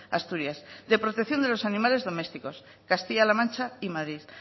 asturias de protección de los animales domésticos castilla la mancha y madrid